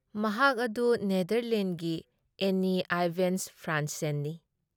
ꯃꯍꯥꯛ ꯑꯗꯨ ꯅꯦꯗꯔꯂꯦꯟꯗꯒꯤ ꯑꯦꯅꯤ ꯑꯥꯏꯕꯦꯟꯁ ꯐ꯭ꯔꯥꯟꯁꯦꯟꯅꯤ ꯫